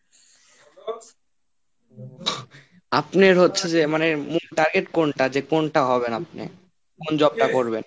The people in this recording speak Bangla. আপনার হচ্ছে যে মানে মূল target কোনটা? যে কোনটা হবেন আপনি? কোন job টা করবেন? তো দেখা যাক ভাগ্যে কি আসে।